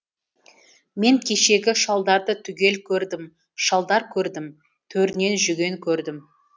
мен кешегі шалдарды түгел көрдім шалдар көрдім төрінен жүген көрдім